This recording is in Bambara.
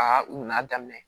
Aa n'a daminɛ